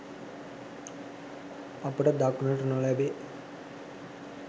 අපට දක්නට නොලැබේ